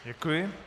Děkuji.